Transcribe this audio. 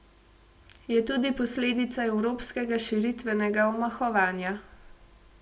Je tudi posledica evropskega širitvenega omahovanja.